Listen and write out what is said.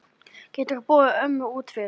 Geturðu borið ömmu út fyrir?